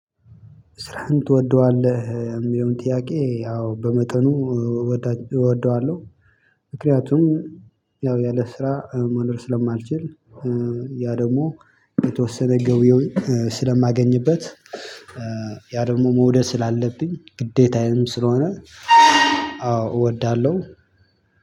ስራህን ትወደዋለህ እሚለውን ጥያቄ? አዎ በመጠኑ እወደዋለሁ። ምክንያቱም ያው ያለ ስራ መኖር ስለማልችል። ያ ደሞ የተወሰነ ገቢውን ስለማገኝበት። ያ ደግሞ መውደድ ስላለብኝ ግዴታዬም ስለሆነ። አዎ እወዳለሁ።